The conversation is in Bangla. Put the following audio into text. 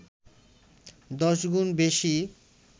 ১০ গুণ বেশি